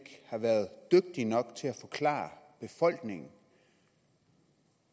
har været dygtig nok til at forklare befolkningen